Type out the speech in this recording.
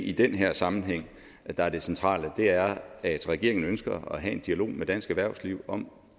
i den her sammenhæng er det centrale er at regeringen ønsker at have en dialog med dansk erhvervsliv om